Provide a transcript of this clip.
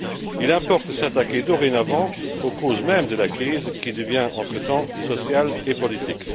Il importe de s'attaquer dorénavant aux causes mêmes de la crise qui devient entre temps sociale et politique.